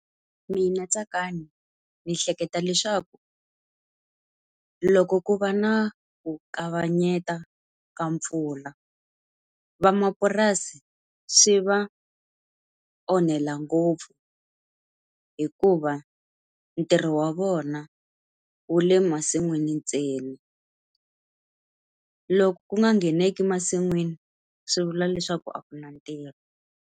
Mina Tsakani ndzi hleketa leswaku, loko ku va na ku kavanyeta ka mpfula vamapurasi swi va onhela ngopfu. Hikuva ntirho wa vona wu le masin'wini ntsena. Loko ku nga ngheneki masin'wini swi vula leswaku a ku na ntirho.